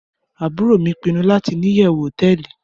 Aburo mi pinu lati ni iyewu hoteeli